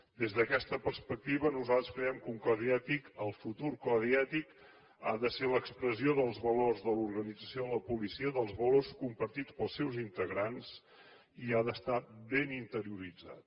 des d’aquesta perspectiva nosaltres creiem que un codi ètic el futur codi ètic ha de ser l’expressió dels valors de l’organització de la policia dels valors compartits pels seus integrants i ha d’estar ben interioritzat